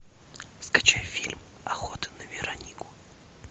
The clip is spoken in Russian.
скачай фильм охота на веронику